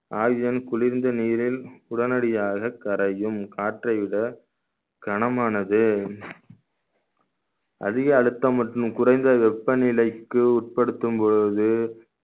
oxygen குளிர்ந்த நீரில் உடனடியாக கரையும் காற்றை விட கனமானது அதிக அழுத்தம் மற்றும் குறைந்த வெப்பநிலைக்கு உட்படுத்தும் பொழுது